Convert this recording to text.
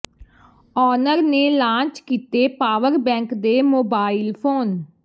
owner ਨੇ launch ਕੀਤੇ power bank ਤੇ ਮੋਬਾਈਲ ਫੋਨ